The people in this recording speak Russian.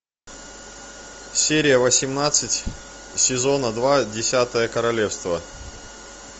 серия восемнадцать сезона два десятое королевство